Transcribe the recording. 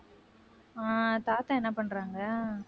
ஆஹ் தாத்தா என்ன பண்றாங்க